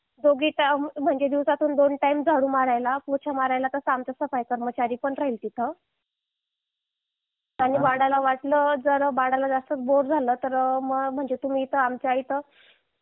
दिवसातून दोन टाईम झाडू मारायला पोचा मारायला तसा